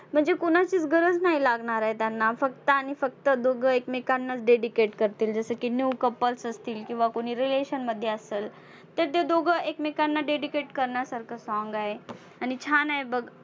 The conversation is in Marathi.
म्हणजे कुणाचीच गरज नाही लागणार आहे त्यांना फक्त आणि फक्त दोघं एकमेकांनाच dedicate करतील जसं की new couples असतील, किंवा कुणी relation मध्ये असंल, तर ते दोघं एकमेकांना dedicate करण्यासारखं song आहे आणि छान आहे बघ.